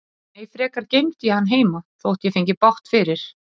Nei, frekar geymdi ég hann heima, þótt ég fengi bágt fyrir.